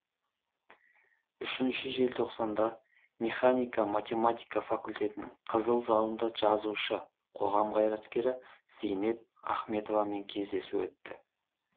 үшінші желтоқсанда механико математика факультетінің қызыл залында жазушы қоғам қайраткері зейнеп ахметовамен кездесу өтті